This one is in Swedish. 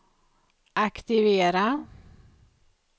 aktivera